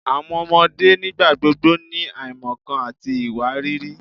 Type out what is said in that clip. Awọn ọmọde nigbagbogbo ni aimọkan ati iwariiri